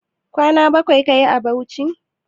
Kwana bakwai kayi a Bauchi?